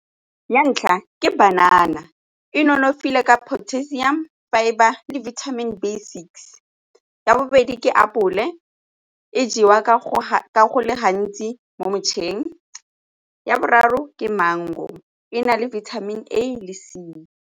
Ya ntlha, ke banana e nonofile ka potassium fibre le vitamin B six. Ya bobedi, ke apole e jewa ka go le gantsi mo metšhineng. Ya boraro, ke mango e na le vitamin A le C.